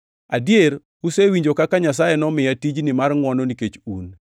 Adier usewinjo kaka Nyasaye nomiya tijni mar ngʼwono nikech un,